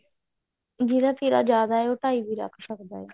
ਜਿਹੜਾ ਤੀਰਾ ਜਿਆਦਾ ਹੈ ਉਹ ਢਾਈ ਵੀ ਰੱਖ ਸਕਦਾ ਹੈ